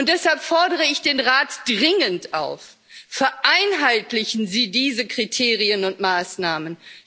Deshalb fordere ich den Rat dringend auf Vereinheitlichen Sie diese Kriterien und Maßnahmen!